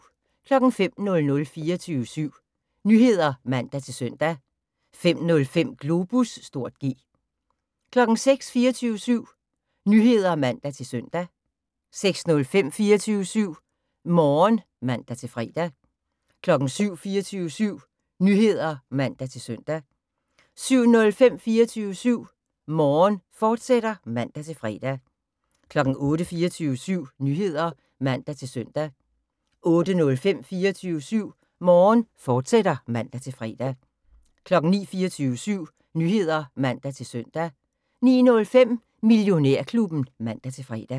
05:00: 24syv Nyheder (man-søn) 05:05: Globus (G) 06:00: 24syv Nyheder (man-søn) 06:05: 24syv Morgen (man-fre) 07:00: 24syv Nyheder (man-søn) 07:05: 24syv Morgen, fortsat (man-fre) 08:00: 24syv Nyheder (man-søn) 08:05: 24syv Morgen, fortsat (man-fre) 09:00: 24syv Nyheder (man-søn) 09:05: Millionærklubben (man-fre)